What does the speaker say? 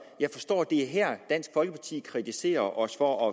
jeg forstår at det er her dansk folkeparti kritiserer os for